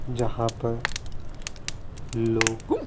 जहाँ पर लोग --